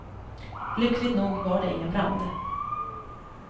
Lyckligt nog var det ingen brand.